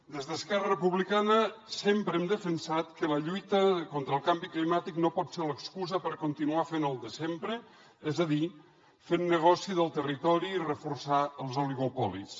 des d’esquerra republicana sempre hem defensat que la lluita contra el canvi climàtic no pot ser l’excusa per continuar fent el de sempre és a dir fent negoci del territori i reforçar els oligopolis